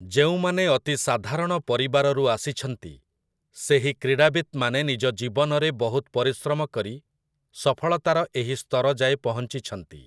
ଯେଉଁମାନେ ଅତି ସାଧାରଣ ପରିବାରରୁ ଆସିଛନ୍ତି, ସେହି କ୍ରୀଡ଼ାବିତ୍‌ମାନେ ନିଜ ଜୀବନରେ ବହୁତ ପରିଶ୍ରମ କରି ସଫଳତାର ଏହି ସ୍ତର ଯାଏ ପହଞ୍ଚିଛନ୍ତି ।